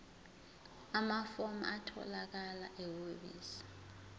amafomu atholakala ehhovisi